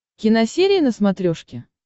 киносерия на смотрешке